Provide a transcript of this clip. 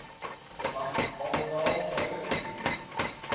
like arnolfo di